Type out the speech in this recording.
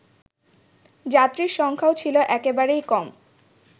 যাত্রীর সংখ্যাও ছিল একেবারেই কম